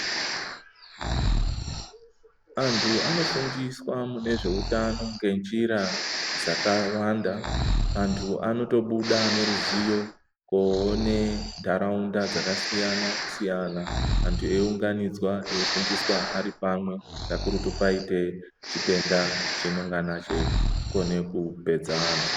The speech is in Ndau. Antu ano fundiswa ne zveutano nge njira dzaka siyana antu anoto buda nge ruzivo ko one ndaraunda dzaka siyana siyana antu eyi unganidzwa eyi fundiswa ari pamwe kakurutu paite chitenda chinongana chei kone ku pedza antu.